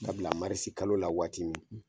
Dabila marisi kalo la waati min